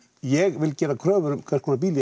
ég vil gera kröfur um hvers konar bíl